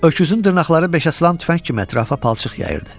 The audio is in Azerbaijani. Öküzün dırnaqları beçə salan tüfəng kimi ətrafa palçıq yayıldı.